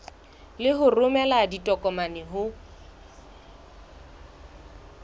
le ho romela ditokomane ho